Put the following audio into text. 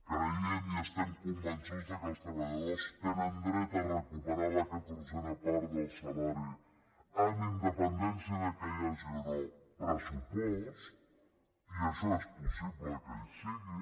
creiem i estem convençuts que els treballadors tenen dret a recuperar la catorzena part del salari amb independència que hi hagi o no pressupost i això és possible que hi sigui